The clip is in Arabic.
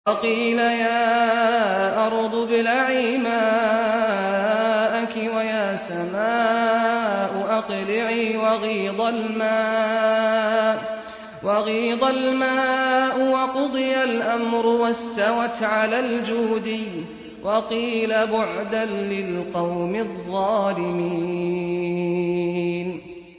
وَقِيلَ يَا أَرْضُ ابْلَعِي مَاءَكِ وَيَا سَمَاءُ أَقْلِعِي وَغِيضَ الْمَاءُ وَقُضِيَ الْأَمْرُ وَاسْتَوَتْ عَلَى الْجُودِيِّ ۖ وَقِيلَ بُعْدًا لِّلْقَوْمِ الظَّالِمِينَ